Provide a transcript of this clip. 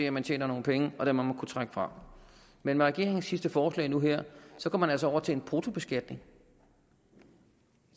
at man tjener nogle penge og det må man kunne trække fra men med regeringens sidste forslag nu her går man altså over til en bruttobeskatning